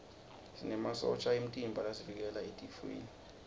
sinemasotja emtimba lasivikela etifweni